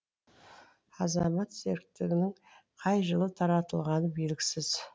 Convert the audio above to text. азамат серіктігінің қай жылы таратылғаны белгісіз